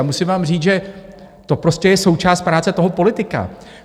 A musím vám říct, že to prostě je součást práce toho politika.